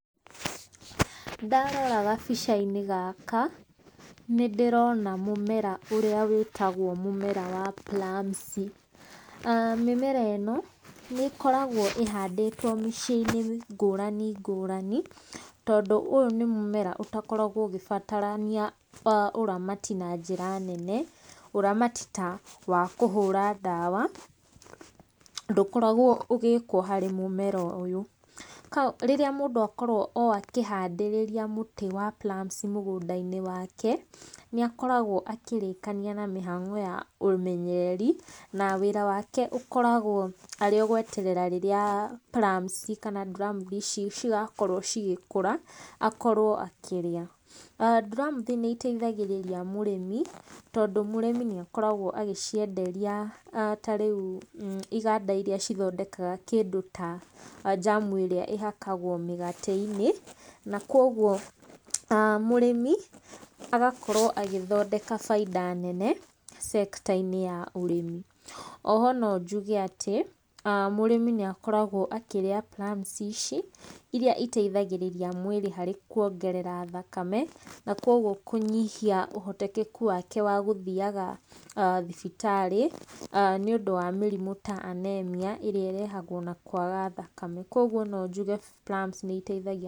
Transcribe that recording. Ndarora gabica-inĩ gaka nĩ ndĩrona mũmera ũrĩa wĩtagwo mũmera wa plums. Mĩmera ĩno nĩ ĩkoragwo ĩhandĩtwo mĩciĩ ngũrani ngũrani, tondũ ũyũ nĩ mũmera ũtakoragwo ũgĩbatarania ũramati na njĩra nene. Ũramati ta wa kũhũra ndawa, ndũkoragwo ũgĩkwo harĩ mũmera ũyũ. Rĩrĩa mũndũ akorwo o akĩhandĩrĩria mũtĩ wa plums mũgũnda-inĩ wake, nĩ akoragwo akĩrĩkania na mĩhango ya ũmenyeri na wĩra wake ũkoragwo arĩ o gweterera rĩrĩa plums kana nduramuthi ici cigakorwo igĩkũra akorwo akĩrĩa. Nduramuthi nĩ iteithagĩrĩria mũrĩmi tondũ mũrĩmi nĩ akoragwo agĩcienderia ta rĩu iganda irĩa cithondekaga kĩndũ ta jam ĩrĩa ĩhakagwo mĩgate-inĩ. Na kwoguo mũrĩmi agakorwo agĩthondeka bainda nene sector -inĩ ya ũrĩmi. O ho no njuge atĩ mũrĩmi nĩ akoragwo akĩrĩa plums ici, irĩa iteithagĩrĩria mwĩrĩ harĩ kuongerera thakame. Na kwoguo kũnyihia ũhotekeku wake wa gũthiaga thibitarĩ, nĩ ũndũ wa mĩrimũ ta anaemia, ĩrĩa ĩrehagwo na kwaga thakame. Kwoguo no njuge plums nĩ iteithagia...